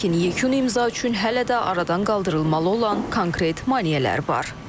Lakin yekun imza üçün hələ də aradan qaldırılmalı olan konkret maneələr var.